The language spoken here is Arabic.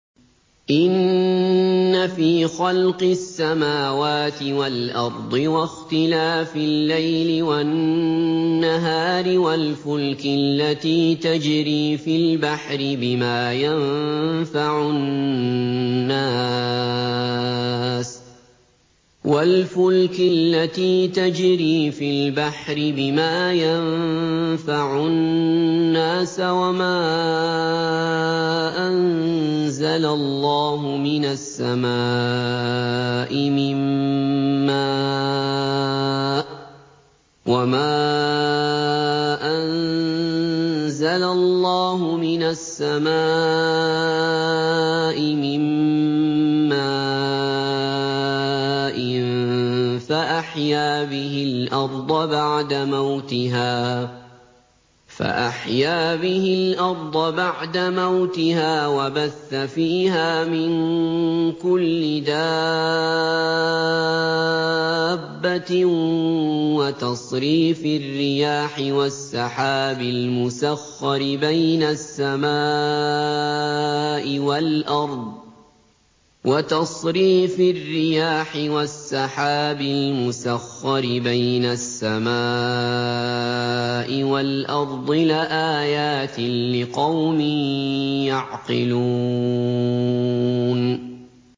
إِنَّ فِي خَلْقِ السَّمَاوَاتِ وَالْأَرْضِ وَاخْتِلَافِ اللَّيْلِ وَالنَّهَارِ وَالْفُلْكِ الَّتِي تَجْرِي فِي الْبَحْرِ بِمَا يَنفَعُ النَّاسَ وَمَا أَنزَلَ اللَّهُ مِنَ السَّمَاءِ مِن مَّاءٍ فَأَحْيَا بِهِ الْأَرْضَ بَعْدَ مَوْتِهَا وَبَثَّ فِيهَا مِن كُلِّ دَابَّةٍ وَتَصْرِيفِ الرِّيَاحِ وَالسَّحَابِ الْمُسَخَّرِ بَيْنَ السَّمَاءِ وَالْأَرْضِ لَآيَاتٍ لِّقَوْمٍ يَعْقِلُونَ